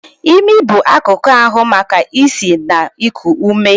Imi bụ akụkụ ahu maka isi na iku ume.